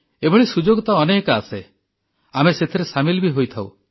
ଏଭଳି ସୁଯୋଗ ତ ଅନେକ ଆସେ ଆମେ ସେଥିରେ ସାମିଲ ବି ହୋଇଥାଉଁ